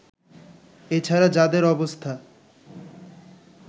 এছাড়া যাদের অবস্থা